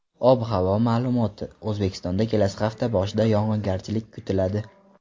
Ob-havo ma’lumoti: O‘zbekistonda kelasi hafta boshida yog‘ingarchilik kutiladi.